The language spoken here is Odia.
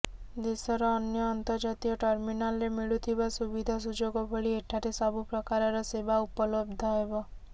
ଦେଶର ଅନ୍ୟ ଅନ୍ତର୍ଜାତୀୟ ଟର୍ମିନାଲରେ ମିଳୁଥିବା ସୁବିଧା ସୁଯୋଗ ଭଳି ଏଠାରେ ସବୁ ପ୍ରକାରର ସେବା ଉପଲବ୍ଧ ହେବ